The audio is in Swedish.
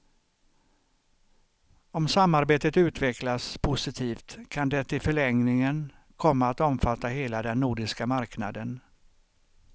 Om samarbetet utvecklas positivt kan det i förlängningen komma att omfatta hela den nordiska marknaden.